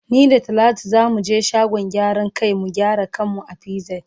Ni da talatu za mu ge shagon gyaran kai mu gyara kan mu a pz.